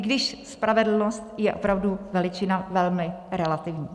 I když spravedlnost je opravdu veličina velmi relativní.